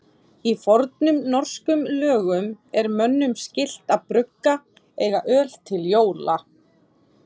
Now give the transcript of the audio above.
Í fornum norskum lögum er mönnum skylt að brugga og eiga öl til jóla.